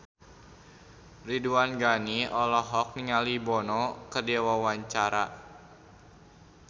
Ridwan Ghani olohok ningali Bono keur diwawancara